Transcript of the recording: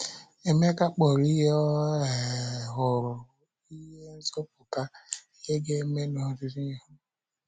Emeka kpọrọ ihe o um hụrụ ihe nzọpụta, ihe ga-eme n’ọdịnihu.